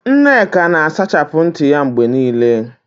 Nneka na-asachapụ ntị ya mgbe niile.